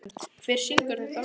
Svend, hver syngur þetta lag?